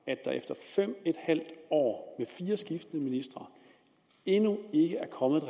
at der efter fem en halv år med fire skiftende ministre endnu ikke er kommet